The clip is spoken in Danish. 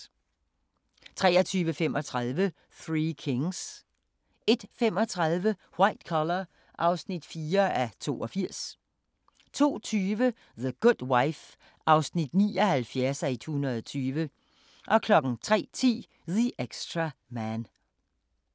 23:35: Three Kings 01:35: White Collar (4:82) 02:20: The Good Wife (79:120) 03:10: The Extra Man